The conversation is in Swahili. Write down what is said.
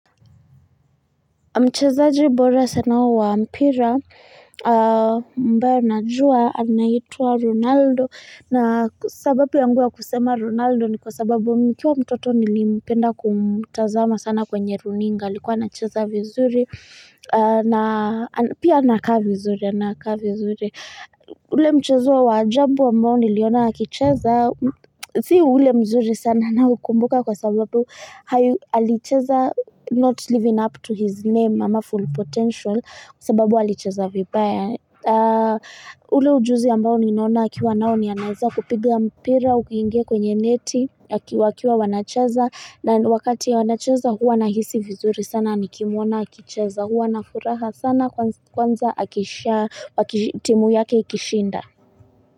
Mchezajibora sana wa mpira ambao najua anaitwa Ronaldo na sababu yangu ya kusema Ronaldo ni kwa sababu nikiwa mtoto nilipenda kumtazama sana kwenye runinga alikuwa na cheza vizuri na pia nakaa vizuri nakaa vizuri. Ule mchezo wa wa ajabu ambao niliona akicheza sii ule mzuri sana naukumbuka kwa sababu alicheza not living up to his name ama full potential sababu alicheza vibaya ule ujuzi ambao niliona akiwa nao ni anaeza kupiga mpira uwingie kwenye neti wakiwa wanacheza na wakati ya wanacheza huwa nahisi vizuri sana nikimwona akicheza Huwa nafuraha sana kwanza akisha akitimu yake ikishinda.